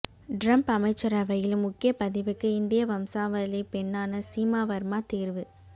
Trump அமைச்சரவையில் முக்கிய பதவிக்கு இந்திய வம்சாவளிப் பெண்ணான சீமா வர்மா தேர்வு